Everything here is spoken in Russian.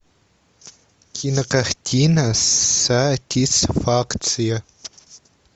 кинокартина сатисфакция